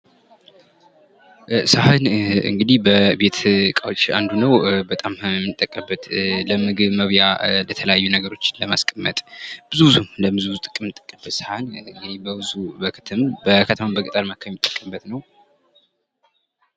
ሰሀን እንግዲህ የቤት እቃዎች አንዱ ነዉ። በጣም የምንጠቀምበት ለምግብ መብያ የተለያዩ ነገሮችን ለማስቀመጥ ብዙ ብዙ የምንጠቀምበት ሰሀን በከተማም የምንጠቀምበት ነዉ።